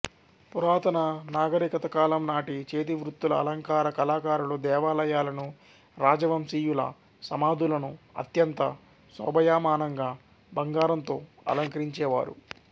పురాతన నాగరికతకాలం నాటి చేతివృత్తుల అలంకార కళాకారులు దేవాలయాలను రాజవంశీయుల సమాధులను అత్యంత శోభాయమానంగా బంగారంతో అలంకరించేవారు